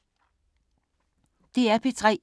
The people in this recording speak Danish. DR P3